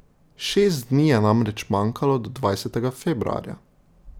Šest dni je namreč manjkalo do dvajsetega februarja.